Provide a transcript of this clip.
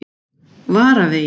Vararvegi